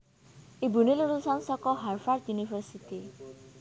Ibuné lulusan saka Harvard University